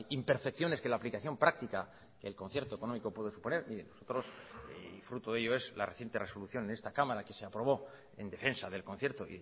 imperfecciones que la aplicación práctica que el concierto económico puede suponer y nosotros y fruto de ello es la reciente resolución en esta cámara que se aprobó en defensa del concierto